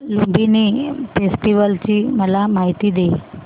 Lumbini festival ची मला माहिती दे